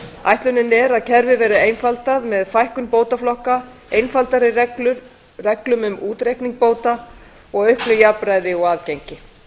ætlunin er að kerfið verði einfaldað með fækkun bótaflokka einfaldari reglum um útreikninga bóta og auknu jafnræði og aðgengi